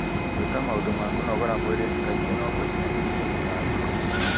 Gwĩka maũndũ ma kũnogora mwĩrĩ kaingĩ no kũnyihanyihie mĩtangĩko.